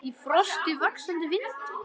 Í frosti, vaxandi vindi.